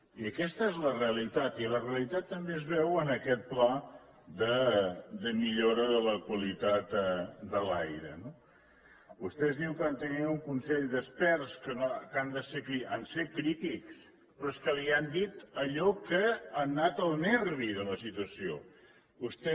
i aquesta és la realitat i la realitat també es veu en aquest pla de millora de la qualitat de l’aire no vostès diuen que han tingut un consell d’experts que han set crítics però és que li han dit allò que ha anat al nervi de la situació vostè